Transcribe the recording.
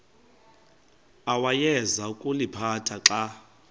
awayeza kuliphatha xa